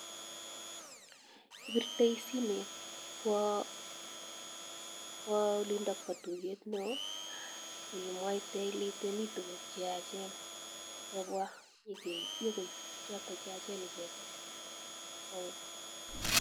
Ibirtoi simoit kwoo olindok bo tuyet neoo imwaite ilee miten tukuk cheyachen kobwa nyokoib chotok cheyachen icheket.